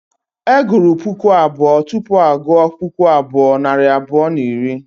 E gụrụ puku abụọ tupu a gụọ puku abụọ nari abụọ na iri